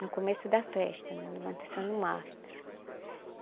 No começo da festa, na levantação do mastro.